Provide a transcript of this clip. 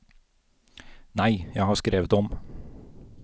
Nei, jeg har skrevet om.